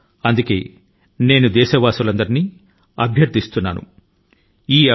అందుకని నేను దేశ ప్రజల ను అందరి కి విజ్ఞప్తి చేసేది ఏమిటి అంటే